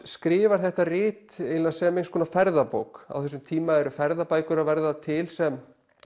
skrifar þetta rit eiginlega sem einhvers konar ferðabók á þessum tíma eru ferðabækur að verða til sem